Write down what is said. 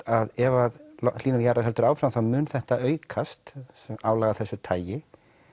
að ef hlýnun jarðar heldur áfram þá mun þetta aukast álag af þessu tagi